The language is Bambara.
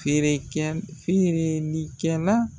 Feere kɛ, feereli kɛ la